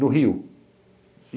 No Rio.